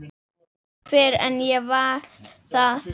Fyrr en ég varð það.